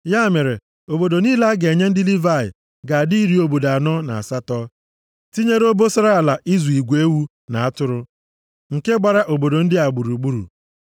Ya mere obodo niile a ga-enye ndị Livayị ga-adị iri obodo anọ na asatọ, tinyere obosara ala ịzụ igwe ewu na atụrụ nke gbara obodo ndị a gburugburu.